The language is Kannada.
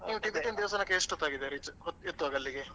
ನೀವು Tibetan ದೇವಸ್ಥಾನಕ್ಕೆ ಎಷ್ಟು ಹೊತ್ತಾಗಿದೆ. reach ಆಗಿದೆ ಎತ್ತುವಾಗ ಅಲ್ಲಿಗೆ?